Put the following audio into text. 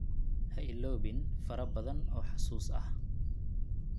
Ha iloobin farabadan oo xasuus ah.